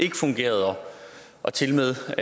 ikke fungerede og tilmed